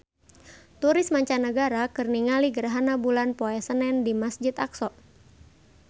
Turis mancanagara keur ningali gerhana bulan poe Senen di Masjid Aqsa